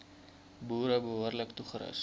boere behoorlik toerus